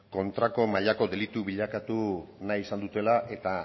kontrako mailako delitu bilakatu nahi izan dutela eta